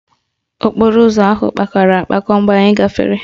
Okporo ụzọ ahụ kpakọrọ akpakọ mgbe anyị gafere